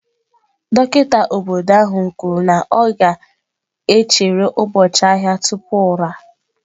Dọkịta obodo ahụ kwuru na ọ ga-echere ụbọchị ahịa tupu ụra.